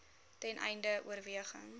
ten einde oorweging